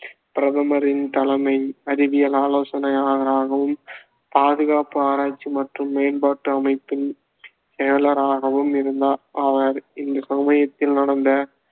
பிரதமரின் தலைமை அறிவியல் ஆலோசனையாளராகவும் பாதுகாப்பு ஆராய்ச்சி மற்றும் மேம்பாட்டு அமைப்பின் செயலாளராகவும் இருந்தார் அவர் இந்த சமயத்தில் நடந்த